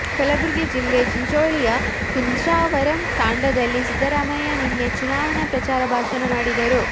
ಕಲಬುರಗಿ ಜಿಲ್ಲೆ ಚಿಂಚೋಳಿಯಯ ಕುಂಚಾವರಂ ತಾಂಡಾದಲ್ಲಿ ಸಿದ್ದರಾಮಯ್ಯ ನಿನ್ನೆ ಚುನಾವಣೆ ಪ್ರಚಾರ ಭಾಷಣ ಮಾಡಿದರು